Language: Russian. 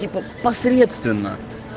типо посредственно